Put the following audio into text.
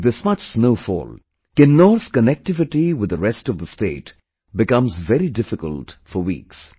With this much snowfall, Kinnaur's connectivity with the rest of the state becomes very difficult for weeks